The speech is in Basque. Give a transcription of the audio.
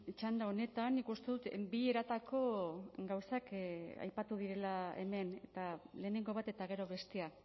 txanda honetan nik uste dut bi eratako gauzak aipatu direla hemen eta lehenengo bat eta gero bestea